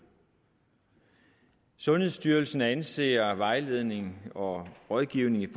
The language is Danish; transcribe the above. sundhedsstyrelsen anser vejledning og rådgivning